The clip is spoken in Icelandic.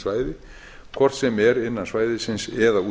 svæði hvort sem er innan svæðisins eða